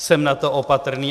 Jsem na to opatrný.